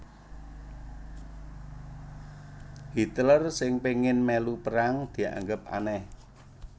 Hitler sing péngin mèlu perang dianggep anèh